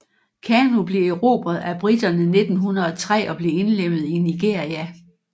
Kano blev erobret af britterne 1903 og blev indlemmet i Nigeria